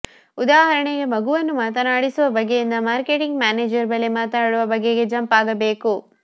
ಉದಾಹರಣೆಗೆ ಮಗುವನ್ನು ಮಾತನಾಡಿಸುವ ಬಗೆಯಿಂದ ಮಾರ್ಕೆಟಿಂಗ್ ಮ್ಯಾನೇಜರ್ ಬಳಿ ಮಾತನಾಡುವ ಬಗೆಗೆ ಜಂಪ್ ಆಗಬೇಕು